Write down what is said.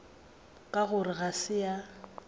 ka gore ga se a